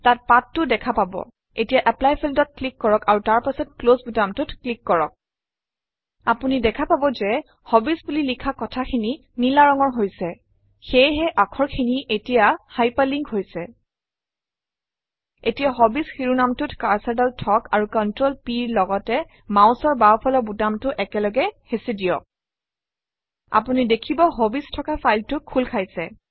তাত পাঠ টো দেখা পাব এতিয়া এপ্লাই Field অত ক্লিক কৰক আৰু তাৰ পাছত ক্লছ বুটামটোত ক্লিক কৰক আপুনি দেখা পাব যে হবিজ বুলি লিখা কথাখিনি নীলা ৰঙৰ হৈছে সেয়েহে আখৰ খিনি এতিয়া হাইপাৰ লিন্ক হৈছে এতিয়া হবিজ শিৰোনামটোত কাৰ্চৰডাল থওক আৰু ControlP ৰ লগতে মাউচৰ বাওঁফালৰ বুটামটো একেলগে হেঁচি দিয়ক আপুনি দেখিব হবিজ থকা ফাইলটো খোল খাইছে